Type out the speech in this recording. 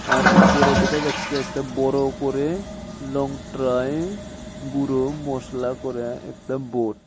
আর উপরে দেখা যাচ্ছে একটা বড় করে লংতরাই গুঁড়ো মসলা করে একটা বোড ।